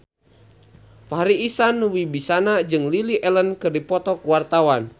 Farri Icksan Wibisana jeung Lily Allen keur dipoto ku wartawan